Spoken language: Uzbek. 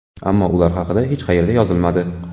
Ammo ular haqida hech qayerda yozilmadi.